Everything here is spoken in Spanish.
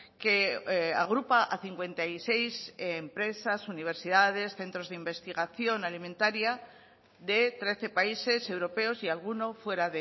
que agrupa a cincuenta y seis empresas universidades y centros de investigación alimentaria de trece países europeos y alguno fuera